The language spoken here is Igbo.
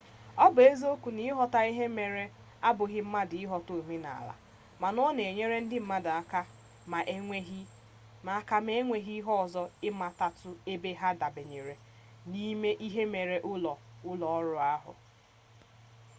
ọ bụ eziokwu na ịghọta ihe mere abụghị mmadụ ịghọta omenala mana ọ na-enyere ndị mmadụ aka ma enweghi ihe ọzọ ịmatatu ebe ha dabanyere n'ime ihe mere nke ụlọọrụ ahụ